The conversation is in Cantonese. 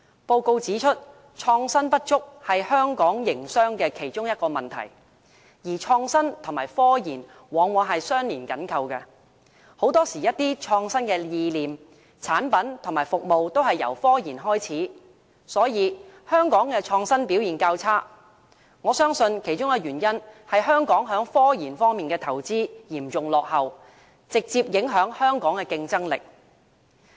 報告指出，創新不足是香港營商的其中一個問題，而創新跟科研往往是相連緊扣的，一些創新意念、產品及服務很多時候都是由科研開始，所以我相信香港的創新表現較差，其中一個原因是香港在科研方面的投資嚴重落後，直接影響香港的競爭力。